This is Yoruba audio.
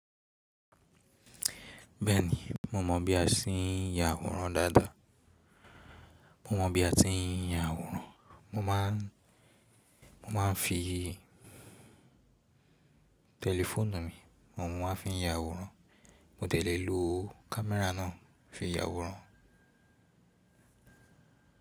Bẹ́ẹ̀ni, mo mọ̀ bí a ti ń ya àwòrán dáadáa. Mo mọ bí a ti ń ya àwòrán, mo má ń fi tẹlifóònù mi, oun mo má ń fi ya àwòrán, mo dẹ̀ lẹ́ lò kámẹ́rà náà fi ya àwòrán.